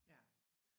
Ja